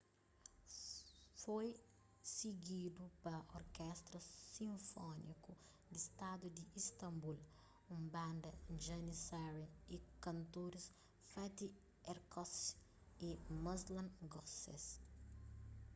foi sigidu pa orkestra sinfóniku di stadu di istambul un banda janissary y kantoris fatih erkoç y müslüm gürses